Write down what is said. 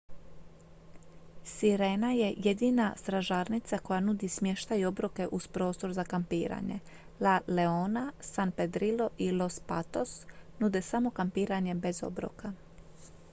sirena je jedina stražarnica koja nudi smještaj i obroke uz prostor za kampiranje la leona san pedrillo i los patos nude samo kampiranje bez obroka